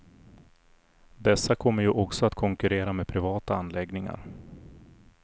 Dessa kommer ju också att konkurrera med privata anläggningar.